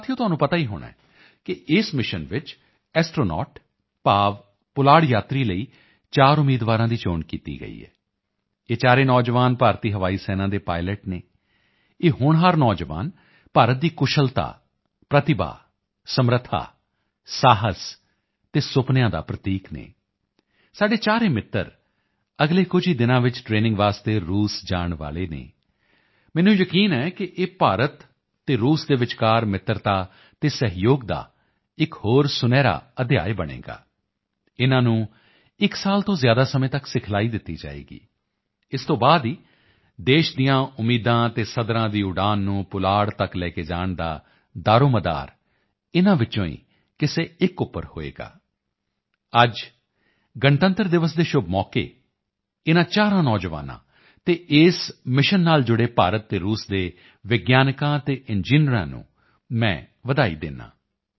ਸਾਥੀਓ ਤੁਹਾਨੂੰ ਪਤਾ ਹੀ ਹੋਣਾ ਕਿ ਇਸ ਮਿਸ਼ਨ ਵਿੱਚ ਐਸਟ੍ਰੋਨੌਟ ਭਾਵ ਪੁਲਾੜ ਯਾਤਰੀ ਲਈ 4 ਉਮੀਦਵਾਰਾਂ ਦੀ ਚੋਣ ਕੀਤੀ ਗਈ ਹੈ ਇਹ ਚਾਰੇ ਨੌਜਵਾਨ ਭਾਰਤੀ ਹਵਾਈ ਸੈਨਾ ਦੇ ਪਾਇਲਟ ਹਨ ਇਹ ਹੋਣਹਾਰ ਨੌਜਵਾਨ ਭਾਰਤ ਦੀ ਕੁਸ਼ਲਤਾ ਪ੍ਰਤਿਭਾ ਸਮਰੱਥਾ ਸਾਹਸ ਅਤੇ ਸੁਪਨਿਆਂ ਦਾ ਪ੍ਰਤੀਕ ਹਨ ਸਾਡੇ ਚਾਰੇ ਮਿੱਤਰ ਅਗਲੇ ਕੁਝ ਹੀ ਦਿਨਾਂ ਵਿੱਚ ਟਰੇਨਿੰਗ ਵਾਸਤੇ ਰੂਸ ਜਾਣ ਵਾਲੇ ਹਨ ਮੈਨੂੰ ਯਕੀਨ ਹੈ ਕਿ ਇਹ ਭਾਰਤ ਅਤੇ ਰੂਸ ਦੇ ਵਿਚਕਾਰ ਮਿੱਤਰਤਾ ਅਤੇ ਸਹਿਯੋਗ ਦਾ ਇੱਕ ਹੋਰ ਸੁਨਹਿਰਾ ਅਧਿਆਏ ਬਣੇਗਾ ਇਨ੍ਹਾਂ ਨੂੰ ਇੱਕ ਸਾਲ ਤੋਂ ਜ਼ਿਆਦਾ ਸਮੇਂ ਤੱਕ ਸਿਖਲਾਈ ਦਿੱਤੀ ਜਾਵੇਗੀ ਇਸ ਤੋਂ ਬਾਅਦ ਹੀ ਦੇਸ਼ ਦੀਆਂ ਉਮੀਦਾਂ ਅਤੇ ਸੱਧਰਾਂ ਦੀ ਉਡਾਣ ਨੂੰ ਪੁਲਾੜ ਤੱਕ ਲੈ ਕੇ ਜਾਣ ਦਾ ਦਾਰੋਮਦਾਰ ਇਨ੍ਹਾਂ ਵਿੱਚੋਂ ਹੀ ਕਿਸੇ ਇੱਕ ਉੱਪਰ ਹੋਵੇਗਾ ਅੱਜ ਗਣਤੰਤਰ ਦਿਵਸ ਦੇ ਸ਼ੁਭ ਮੌਕੇ ਉੱਪਰ ਇਨ੍ਹਾਂ ਚਾਰਾਂ ਨੌਜਵਾਨਾਂ ਅਤੇ ਇਸ ਮਿਸ਼ਨ ਨਾਲ ਜੁੜੇ ਭਾਰਤ ਅਤੇ ਰੂਸ ਦੇ ਵਿਗਿਆਨੀਆਂ ਤੇ ਇੰਜੀਨੀਅਰਾਂ ਨੂੰ ਮੈਂ ਵਧਾਈ ਦਿੰਦਾ ਹਾਂ